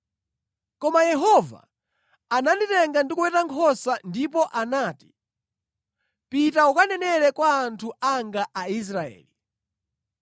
Koma Yehova ananditenga ndikuweta nkhosa ndipo anati, ‘Pita ukanenere kwa anthu anga Aisraeli.’